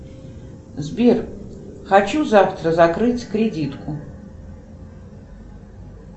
сбер хочу завтра закрыть кредитку